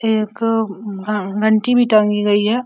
एक घ घंटी भी टंगी गई है।